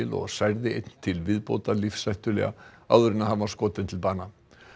og særði einn til viðbótar lífshættulega áður en hann var skotinn til bana